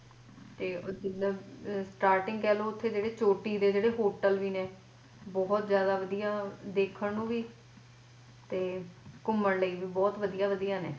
ਤੇ ਉਹ ਜਿੱਦਾਂ starting ਦੇ ਕਹਿਲੋ ਉੱਥੇ ਜਿਹੜੇ ਛੋਟੀ ਦੇ ਜਿਹੜੇ hotel ਵੀ ਨੇ ਬਹੁਤ ਜਿਆਦਾ ਵਦਯਾ ਵੇਖਣ ਨੂੰ ਵੀ ਤੇ ਘੁੰਮਣ ਲਈ ਵੀ ਬਹੁਤ ਵਧੀਆ ਵਧੀਆ ਨੇ